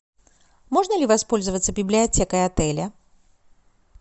можно ли воспользоваться библиотекой отеля